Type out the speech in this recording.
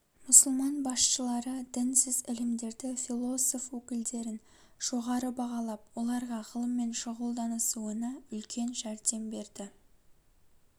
мұсылман басшылары дінсіз ілімдерді философ өкілдерін жоғары бағалап оларға ғылыммен шүғылданысуына үлкен жәрдем берді